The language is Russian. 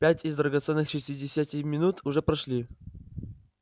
пять из драгоценных шестидесяти минут уже прошли